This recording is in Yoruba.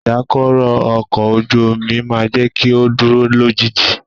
Ìdákọrò ọkọ̀ ojú omi máà jẹ́ kí o dúró lójú ìjì.